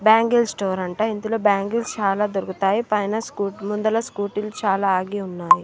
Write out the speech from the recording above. Bangle store అంట ఇందులో bangles చాలా దొరుకుతాయి. పైన స్కూ ముందన స్కూటీలు చాలా ఆగి ఉన్నాయి.